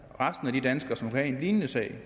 resten af de danskere som kunne have en lignende sag